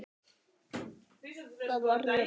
Það var öruggt.